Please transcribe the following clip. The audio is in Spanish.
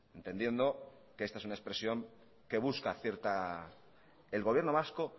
entendiendo que esta es una expresión que busca cierta el gobierno vasco